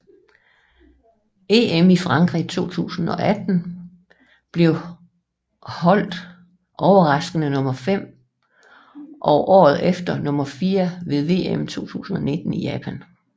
EM i Frankrig 2018 blev holdet overraskende nummer 5 og årete efter nummer 4 ved VM 2019 i Japan